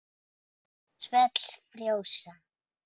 Svell frjósa.